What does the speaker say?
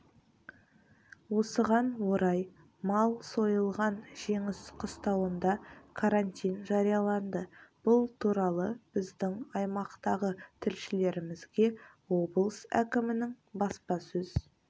осыған орай мал сойылған жеңіс қыстауында карантин жарияланды бұл туралы біздің аймақтағы тілшілерімізге облыс әкімінің баспасөз